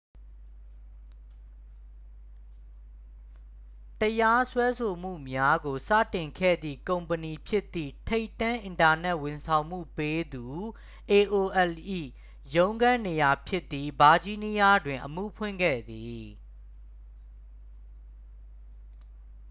တရားစွဲဆိုမှုများကို စတင်ခဲ့သည့် ကုမ္ပဏီဖြစ်သည့် ထိပ်တန်း အင်တာနက် ဝန်ဆောင်မှုပေးသူ aol ၏ ရုံးခန်းနေရာ ဖြစ်သည့် ဗာဂျီးနီးယားတွင် အမှုဖွင့်ခဲ့သည်